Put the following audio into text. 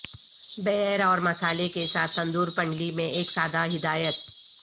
beer اور مصالحے کے ساتھ تندور پنڈلی میں ایک سادہ ہدایت